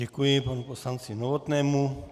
Děkuji panu poslanci Novotnému.